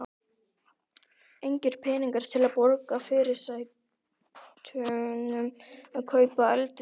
Engir peningar til að borga fyrirsætunum og kaupa eldivið.